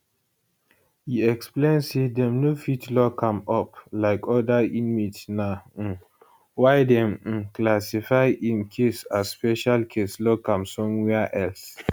e explain say dem no fit lock am up like oda inmate na um why dem um classify im case as special case lock am somewia else